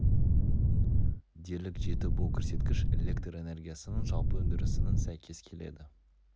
дерлік жетті бұл көрсеткіш электр энергиясыынң жалпы өндірісінің сәйкес келеді